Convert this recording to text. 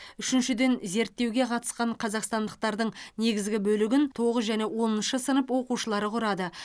үшіншіден зерттеуге қатысқан қазақстандықтардың негізгі бөлігін тоғыз және оныншы сынып оқушылары құрады